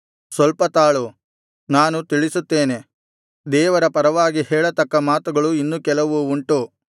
ಸ್ವಲ್ಪ ತಾಳು ನಾನು ತಿಳಿಸುತ್ತೇನೆ ದೇವರ ಪರವಾಗಿ ಹೇಳತಕ್ಕ ಮಾತುಗಳು ಇನ್ನೂ ಕೆಲವು ಉಂಟು